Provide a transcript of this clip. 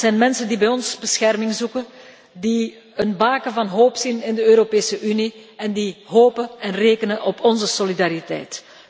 Dat zijn mensen die bij ons bescherming zoeken, die een baken van hoop zien in de Europese Unie en die hopen en rekenen op onze solidariteit.